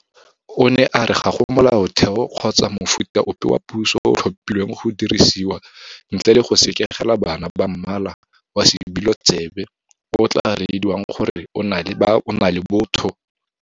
O ne a re ga go Molaotheo kgotsa mofuta ope wa puso o o tlhophilweng go dirisiwa ntle le go sekegela bana ba mmala wa sebilo tsebe o o tla rediwang gore o na le botho.